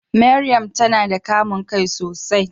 Mariam tana da kamun kai sosai.